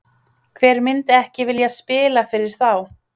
Hver myndi ekki vilja spila fyrir þá?